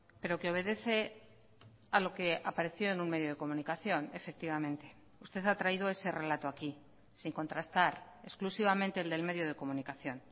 pero que obedece a lo que apareció en un medio de comunicación efectivamente usted ha traído ese relato aquí sin contrastar exclusivamente el del medio de comunicación